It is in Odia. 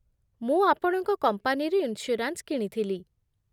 ମୁଁ ଆପଣଙ୍କ କମ୍ପାନୀରୁ ଇନ୍ସ୍ୟୁରାନ୍ସ୍ କିଣିଥିଲି ।